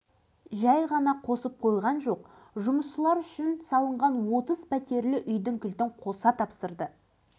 бұған дейін мұнай базасының бастығы қызметін атқарып жүрген алашыбайға фабрика құрылысын жандандыруды тапсырған облыс басшылары қателеспепті